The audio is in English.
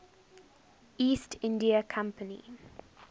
east india company